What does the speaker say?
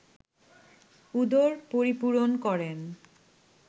উদর পরিপূরণ করেন